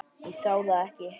Ég sá það ekki þá.